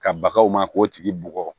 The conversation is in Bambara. Ka bagaw ma k'o tigi bugɔ